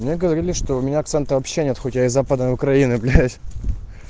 мне говорили что у меня акцента вообще нет хоть и из западной украины блять